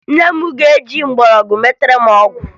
Nne m ga-eji mgbọrọgwụ metara m ọgwụ